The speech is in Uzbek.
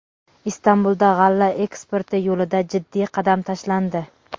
Istanbulda g‘alla eksporti yo‘lida jiddiy qadam tashlandi.